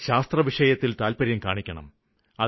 എല്ലാ യുവാക്കളും ശാസ്ത്രവിഷയത്തില് താത്പര്യം കാണിക്കണം